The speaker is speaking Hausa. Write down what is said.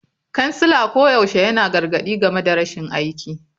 Kansila koyaushe yana gargadi game da rashin aiki.